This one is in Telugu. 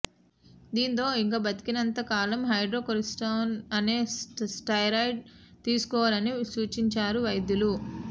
దాంతో ఇక బతికినంత కాలం హైడ్రోకోర్టిసోన్ అనే స్టెరాయిడ్ తీసుకోవాలని సూచించారు వైద్యులు